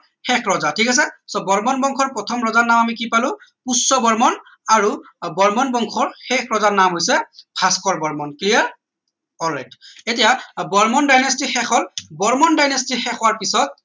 শেষ ৰজা ঠিক আছে so বৰ্মন বংশৰ প্ৰথম ৰজাৰ নাম আমি কি পালো পুষ্য বৰ্মন আৰু বৰ্মন বংশৰ শেষ ৰজাৰ নাম হৈছে Bhaskar Varman clear all right এতিয়া varman dynasty শেষ হল varman dynasty শেষ হোৱাৰ পিছত